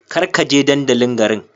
Kar ka je dandalin garin.